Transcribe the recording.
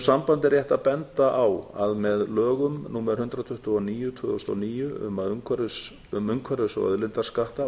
sambandi er rétt að benda á að með lögum númer hundrað tuttugu og níu tvö þúsund og níu um umhverfis og auðlindaskatta